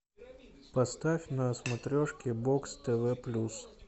поставь на смотрешке бокс тв плюс